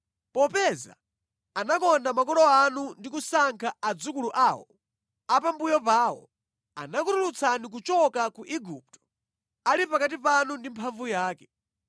Popeza anakonda makolo anu ndi kusankha adzukulu awo, a pambuyo pawo, anakutulutsani kuchoka ku Igupto ali pakati panu ndi mphamvu yake,